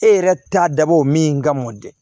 E yɛrɛ t'a dabɔ o min ka mɔ dɛ